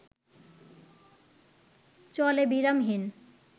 চলে বিরামহীন